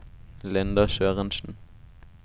Linda Sørensen